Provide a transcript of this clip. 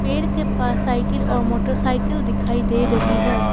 पेड़ के पास साइकिल और मोटरसाइकिल दिखाई दे रही है।